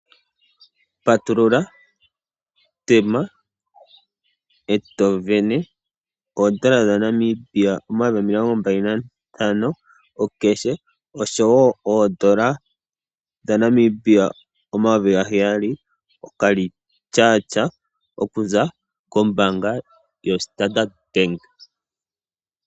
Patulula, tema eto sindana oondola dha Namibia 25 000 koomuma osho woo eendola dha Namibia 7000 okarecharge oku za ko mbaanga yoStandard.